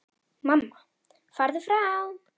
Mamma: Farðu frá!